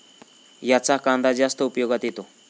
याचा कांदा जास्त उपयोगात येतो.